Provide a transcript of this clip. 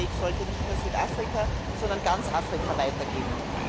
Auf diesem Weg sollte nicht nur Südafrika, sondern ganz Afrika weitergehen.